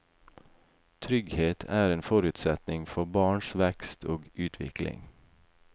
Trygghet er en forutsetning for barns vekst og utvikling.